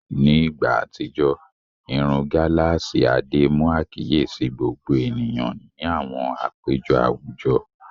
Ní ìgbà àtijọ́, irun gálààsì Adé mú àkíyèsí gbogbo ènìyàn ní àwọn àpéjọ àwùjọ.